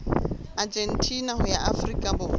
argentina ho ya afrika borwa